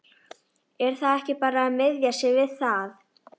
Er þá ekki bara að miða sig við það?